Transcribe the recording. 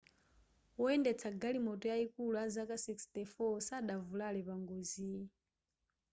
woyendetsa galimoto yayikulu azaka 64 sadavulare pangoziyi